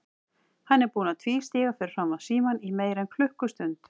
Hann er búinn að tvístíga fyrir framan símann í meira en klukkustund.